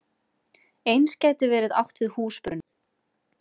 Eins gæti verið átt við húsbruna.